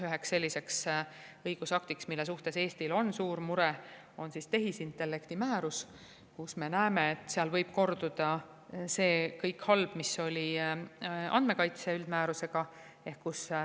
Üks selline õigusakt, millega Eestil on suur mure, on tehisintellekti määrus, mille puhul me näeme, et võib korduda kõik see halb, mis oli andmekaitse üldmääruse puhul.